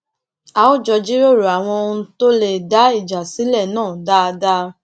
a jọ jíròrò àwọn ohun tó lè dá ìjà sílẹ náà dáadáa